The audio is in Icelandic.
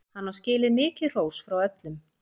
Hann á skilið mikið hrós frá öllum.